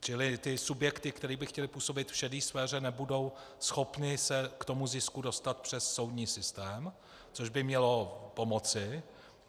Čili ty subjekty, které by chtěly působit v šedé sféře, nebudou schopny se k tomu zisku dostat přes soudní systém, což by mělo pomoci.